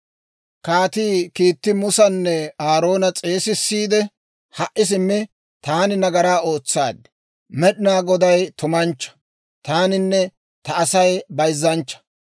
Kaatii kiitti Musanne Aaroona s'eesissiide, «Ha"i simmi, taani nagaraa ootsaad; Med'inaa Goday tumanchchaa; taaninne ta Asay bayzzanchcha.